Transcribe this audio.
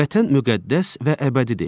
Vətən müqəddəs və əbədidir.